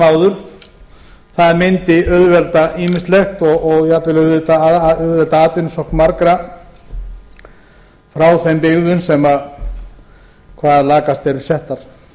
áður það mundi auðvelda ýmislegt og jafnvel auðvelda atvinnusókn margra frá þeim byggðum sem hvað lakast eru settar